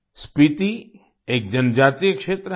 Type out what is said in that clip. स्पीती एक जनजातीय क्षेत्र है